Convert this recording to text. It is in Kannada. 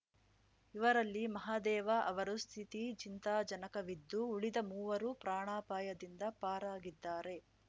ಇವರಲ್ಲಿ ಮಹಾದೇವ ಅವರ ಸ್ಥಿತಿ ಚಿಂತಾಜನಕವಿದ್ದು ಉಳಿದ ಮೂವರು ಪ್ರಾಣಾಪಾಯದಿಂದ ಪಾರಾಗಿದ್ದಾರೆ